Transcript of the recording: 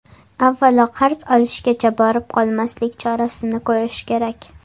Avvalo qarz olishgacha borib qolmaslik chorasini ko‘rish kerak.